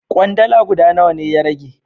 Kwandala guda nawa ne ya rage?